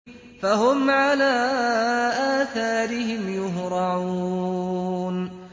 فَهُمْ عَلَىٰ آثَارِهِمْ يُهْرَعُونَ